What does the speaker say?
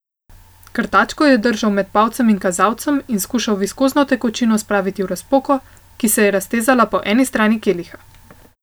Krtačko je držal med palcem in kazalcem in skušal viskozno tekočino spraviti v razpoko, ki se je raztezala po eni strani keliha.